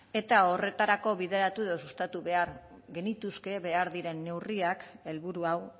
eta horretarako bideratu edo sustatu behar genituzke behar diren neurriak helburu hau